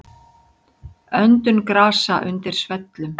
Öndun grasa undir svellum.